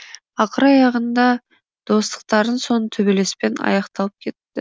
ақыр аяғында достықтарының соңы төбелеспен аяқталып кетті